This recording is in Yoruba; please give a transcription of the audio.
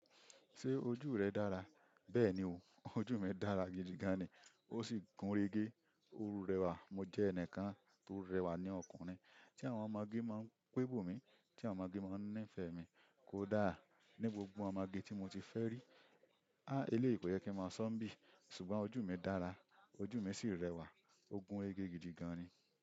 Ṣé ojú rẹ dára? Bẹ́ẹ̀ni o, ojú mi dára gidigan ni, ó sì gúnrégé, ó rẹwà. Mo jẹ́ ẹnìkan tó rẹwà ní ọkùnrin, tí àwọn ọmọge máa ń pébo mi, tí àwọn ọmọge máa ń nífẹ̀ẹ́ mi. Kódà ní gbogbo àwọn ọmọge tí mo ti fẹ́ rí, á eléèyí kò yẹ kí n máa sọ̀ n bí, ṣùgbọ́n ojú mi dára, ojú mi sì rẹwà, ó gúnrégé gidigan ni.